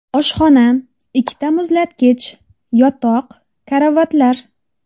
Oshxona, ikkita muzlatgich, yotoq, karavotlar.